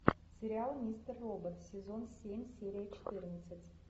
сериал мистер робот сезон семь серия четырнадцать